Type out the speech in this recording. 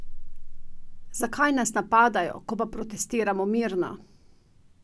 Zakaj nas napadajo, ko pa protestiramo mirno?